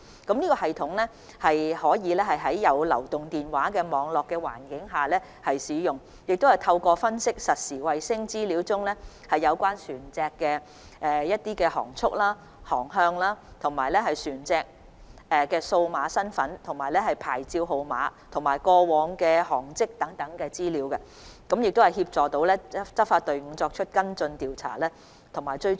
這系統可以在有流動電話網絡覆蓋的環境下使用，亦可透過分析實時衞星資料中有關船隻的航速和航向、船隻的數碼身份及牌照號碼，以及過往的航跡等，從而協助執法隊伍作出跟進、調查及追蹤。